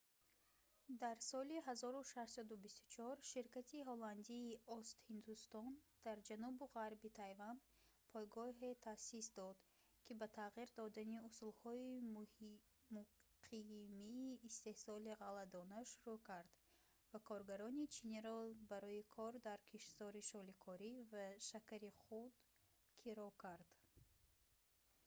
дар соли 1624 ширкати ҳолландии ост-ҳиндустон дар ҷанубу ғарби тайван пойгоҳе таъсис дод ки ба тағйир додани усулҳои муқимии истеҳсоли ғалладона шурӯъ кард ва коргарони чиниро барои кор дар киштзори шоликорӣ ва шакари худ киро кард